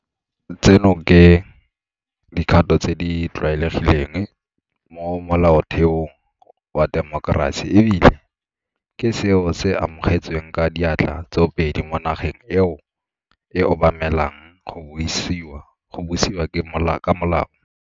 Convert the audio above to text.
Tseno ke dikgato tse di tlwaelegileng mo molaotheong wa temokerasi e bile ke seo se amogetsweng ka diatla tsoopedi mo nageng eo e obamelang go busiwa ka molao.